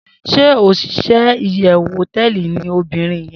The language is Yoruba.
Shey osise iyewu hoteeli ni obirin ye